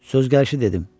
Söz gəlişi dedim.